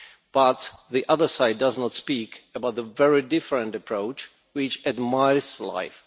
But the other side does not speak about the very different approach which admires life.